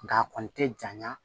Nka a kɔni tɛ janya